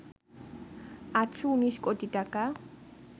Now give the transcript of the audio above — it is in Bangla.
৮১৯ কোটি টাকা